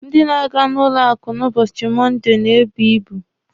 Ndị na-aga na n'ụlọ akụ n'ụbọchị Mọnde na-ebu ibu.